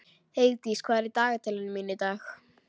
Heiðdís, hvað er í dagatalinu mínu í dag?